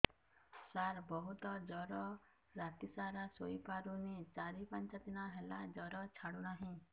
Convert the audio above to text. ସାର ବହୁତ ଜର ରାତି ସାରା ଶୋଇପାରୁନି ଚାରି ପାଞ୍ଚ ଦିନ ହେଲା ଜର ଛାଡ଼ୁ ନାହିଁ